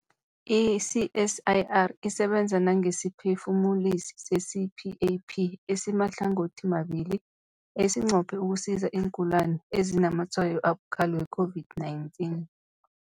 I-CSIR isebenza nangesiphefumulisi se-CPAP esimahlangothimabili esinqophe ukusiza iingulani ezinazamatshwayo abukhali we-COVID-19.